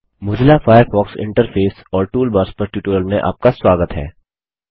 Mozilla Firefox interface और toolbars पर tutorial में आपका स्वागत है